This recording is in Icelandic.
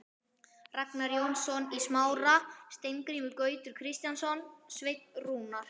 Ragnar Jónsson í Smára, Steingrímur Gautur Kristjánsson, Sveinn Rúnar